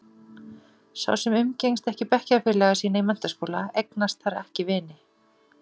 Sá sem umgengst ekki bekkjarfélaga sína í menntaskóla, eignast þar ekki vini.